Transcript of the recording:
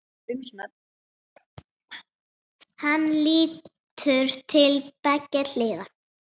Hann lítur til beggja hliða.